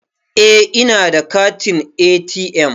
Eh ina da katin ATM.